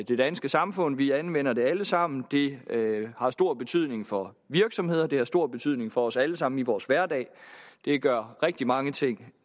det danske samfund vi anvender det alle sammen det har stor betydning for virksomheder det har stor betydning for os alle sammen i vores hverdag det gør rigtig mange ting